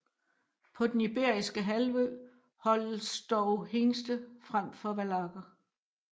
På den iberiske halvø holdes dog hingste frem for vallakker